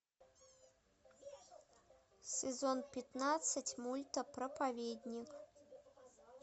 сезон пятнадцать мульта проповедник